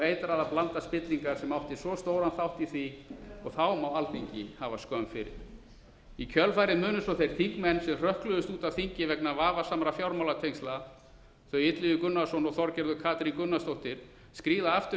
eitraða blanda spillingar sem átti svo stóran þátt í því og þá má alþingi hafa skömm fyrir í kjölfarið munu svo þeir þingmenn sem hrökkluðust út af þingi vegna vafasamra fjármálatengsla þau illugi gunnarsson og þorgerður katrín gunnarsdóttir skríða aftur inn